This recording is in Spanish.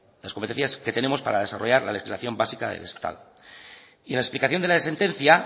las competencias que tenemos para desarrollar la legislación básica del estado y en la explicación de la sentencia